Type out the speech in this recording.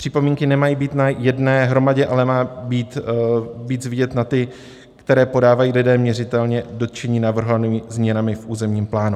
Připomínky nemají být na jedné hromadě, ale má být víc vidět na ty, které podávají lidé měřitelně dotčení navrhovanými změnami v územním plánu.